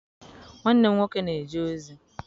Nwanne m nwoke na-eje ozi